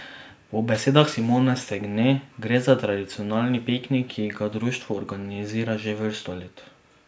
Po besedah Simone Stegne gre za tradicionalni piknik, ki ga društvo organizira že vrsto let.